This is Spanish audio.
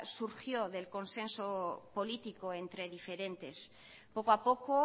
surgió del consenso político entre diferentes poco a poco